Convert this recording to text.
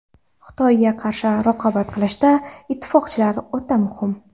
Xitoyga qarshi raqobat qilishda, ittifoqchilar o‘ta muhim.